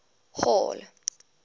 hall